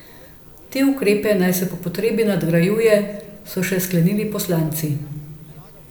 Te ukrepe naj se po potrebi nadgrajuje, so še sklenili poslanci.